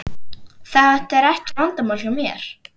Þetta er ekki vandamál hjá mér.